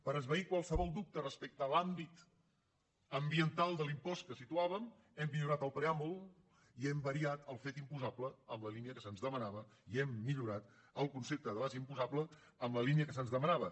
per esvair qualsevol dubte respecte a l’àmbit ambiental de l’impost que situàvem hem millorat el preàmbul i hem variat el fet imposable en la línia que se’ns demanava i hem millorat el concepte de base imposable en la línia que se’ns demanava